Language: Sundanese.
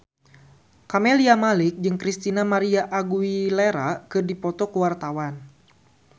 Camelia Malik jeung Christina María Aguilera keur dipoto ku wartawan